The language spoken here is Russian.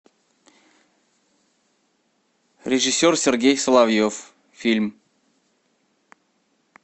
режиссер сергей соловьев фильм